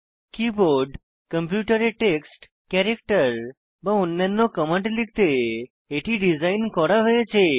keyboard কম্পিউটারে text character বা অন্যান্য কমান্ড লিখতে এটি ডিজাইন করা হয়েছে